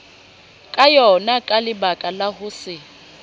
ka yonaka lebakala ho se